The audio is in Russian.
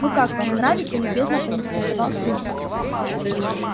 ну как вам нравится любезно поинтересовался ник